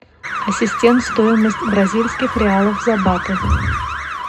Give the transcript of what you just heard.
ассистент стоимость бразильских реалов за баты